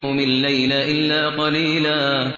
قُمِ اللَّيْلَ إِلَّا قَلِيلًا